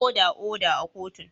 Oda, oda a kotun!